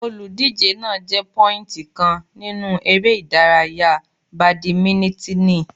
Olùdíje náà jẹ pọ́íìntì kan nínú eré ìdárayá bàdímínítìnì.